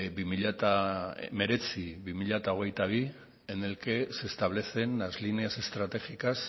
dos mil diecinueve dos mil veintidós en el que se establecen las líneas estratégicas